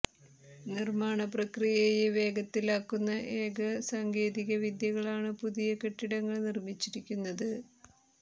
നിർമ്മാണ പ്രക്രിയയെ വേഗത്തിലാക്കുന്ന ഏക സാങ്കേതിക വിദ്യകളാണ് പുതിയ കെട്ടിടങ്ങൾ നിർമ്മിച്ചിരിക്കുന്നത്